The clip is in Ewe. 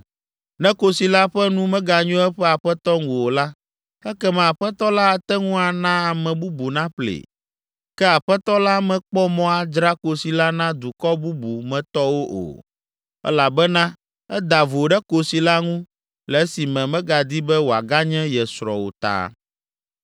Ne kosi la ƒe nu meganyo eƒe aƒetɔ ŋu o la, ekema aƒetɔ la ate ŋu ana ame bubu naƒlee. Ke aƒetɔ la mekpɔ mɔ adzra kosi la na dukɔ bubu me tɔwo o, elabena eda vo ɖe kosi la ŋu le esime megadi be wòaganye ye srɔ̃ o ta.